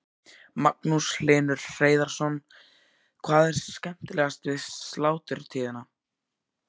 Magnús Hlynur Hreiðarsson: Hvað er skemmtilegast við sláturtíðina?